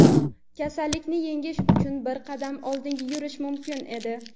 kasallikni yengish uchun bir qadam oldinga yurish mumkin edi.